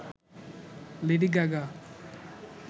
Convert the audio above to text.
lady Gaga